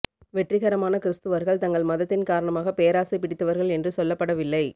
வெற்றிகரமான கிறிஸ்தவர்கள் தங்கள் மதத்தின் காரணமாக பேராசை பிடித்தவர்கள் என்று சொல்லப்படவில்லை